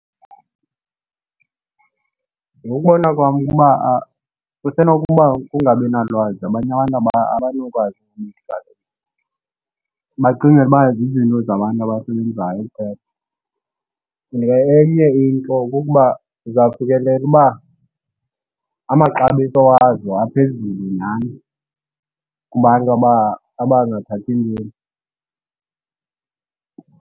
Ngokokubona kwam, ukuba kusenokuba kukungabinalwazi abanye abantu abanokwazi Bacingela uba zizinto zabantu abasebenzayo kuphela. And ke enye into kukuba uzawufikelela uba amaxabiso wazo aphezulu nyhani kubantu abangathathi ntweni.